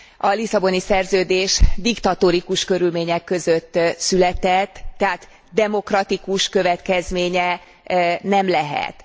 A Lisszaboni Szerződés diktatórikus körülmények között született, tehát demokratikus következménye nem lehet.